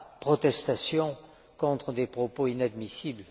protestation contre des propos inadmissibles.